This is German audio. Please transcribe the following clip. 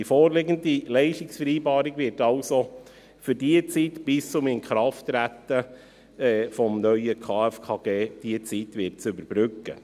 Die vorliegende Leistungsvereinbarung wird also die Zeit bis zum Inkrafttreten des neuen KFKG überbrücken.